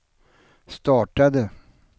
startade